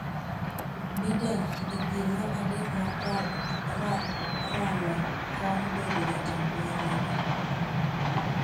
Biden, e piem mar adek mar ralo kom bedo jatend piny Amerka,